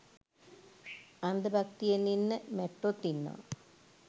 අන්ධ භක්තියෙන් ඉන්න මැට්ටොත් ඉන්නව